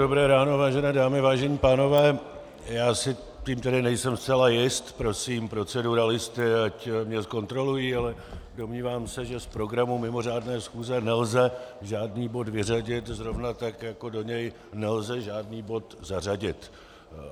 Dobré ráno, vážené dámy, vážení pánové, já si tím tedy nejsem zcela jist, prosím proceduralisty, ať mě zkontrolují, ale domnívám se, že z programu mimořádné schůze nelze žádný bod vyřadit, zrovna tak jako do něj nelze žádný bod zařadit.